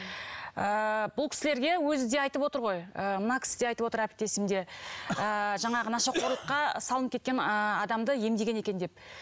ыыы бұл кісілерге өзі де айтып отыр ғой ы мына кісі де айтып отыр әріптесім де ы жаңағы нашақорлыққа салынып кеткен ы адамды емдеген екен деп